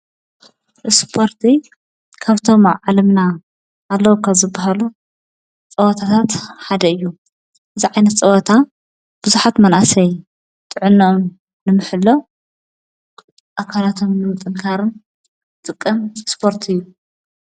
ስፖርት ካብቶም ኣብ ዓለምና ኣለው ካብ ዝብሃሉ ፀወታታት ሓደ እዩ። እዚ ዓይነት ፀወታ ብዙሓት መናእሰይ ጥዕነኦም ንምሕላው ኣካላቶም ንምንጥንኻርን ዝጥቀም ስፖርት እዩ።